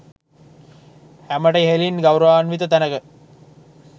හැමට ඉහලින් ගෞරවාන්විත තැනක